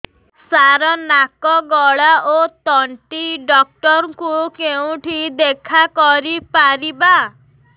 ସାର ନାକ ଗଳା ଓ ତଣ୍ଟି ଡକ୍ଟର ଙ୍କୁ କେଉଁଠି ଦେଖା କରିପାରିବା